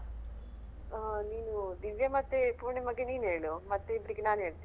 ಹಾ ನೀನು ದಿವ್ಯ ಮತ್ತೆ ಪೂರ್ಣಿಮಾಗೆ ನಿನ್ ಹೇಳು ಮತ್ತೆ ಇಬ್ರಿಗೆ ನಾನ್ ಹೇಳ್ತೇನೆ.